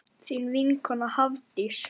Þín vinkona Hafdís.